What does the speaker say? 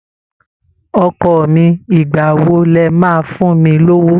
Ọkọ mi, ìgbà wo lẹ máa fún mi lówó?